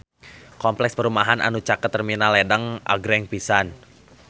Kompleks perumahan anu caket Terminal Ledeng agreng pisan